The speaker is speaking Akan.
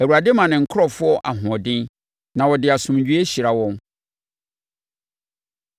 Awurade ma ne nkurɔfoɔ ahoɔden, na ɔde asomdwoeɛ hyira wɔn.